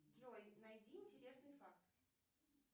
джой найди интересный факт